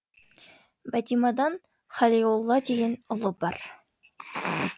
бәтимадан халиолла деген ұлы бар